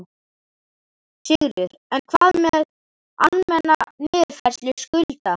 Sigríður: En hvað með almenna niðurfærslu skulda?